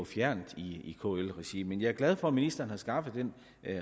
fjernt i kl regi men jeg er glad for at ministeren har skaffet den